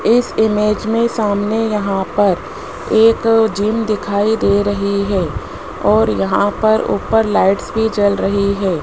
इस इमेज में सामने यहां पर एक जिम दिखाई दे रही है और यहां पर ऊपर लाइट्स भी जल रही है।